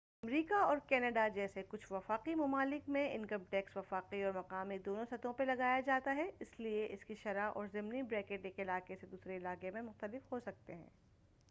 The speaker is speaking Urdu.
امریکہ اور کناڈا جیسے کچھ وفاقی ممالک میں انکم ٹیکس وفاقی اور مقامی دونوں سطحوں پر لگایا جاتا ہے اس لیے اس کی شرح اور ضمنی بریکٹ ایک علاقہ سے دوسرے علاقے میں مختلف ہوسکتے ہیں